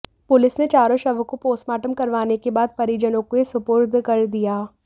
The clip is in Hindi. पुलिस ने चारों शवों को पोस्टमार्टम करवाने के बाद परिजनों के सुपुर्द कर दिया